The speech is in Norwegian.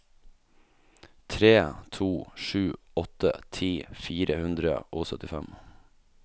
tre to sju åtte ti fire hundre og syttifem